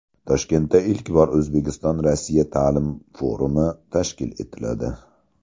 Toshkentda ilk bor O‘zbekiston Rossiya ta’lim forumi tashkil etiladi.